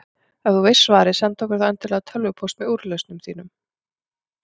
Ef þú veist svarið, sendu okkur þá endilega tölvupóst með úrlausnum þínum.